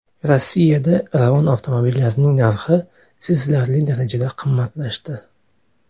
Rossiyada Ravon avtomobillarining narxi sezilarli darajada qimmatlashdi.